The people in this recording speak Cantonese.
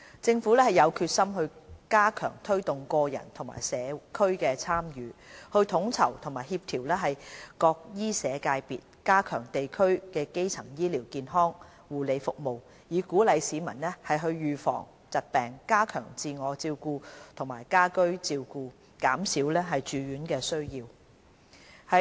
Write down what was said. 政府有決心加強推動個人和社區的參與，統籌和協調各醫社界別，加強地區基層醫療健康護理服務，以鼓勵市民預防疾病，加強自我照顧和家居照顧，減少住院需要。